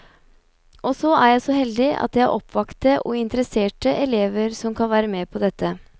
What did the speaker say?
Og så er jeg så heldig at jeg har oppvakte og interesserte elever som kan være med på dette.